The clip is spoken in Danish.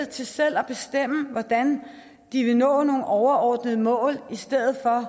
til selv at bestemme hvordan de vil nå nogle overordnede mål i stedet for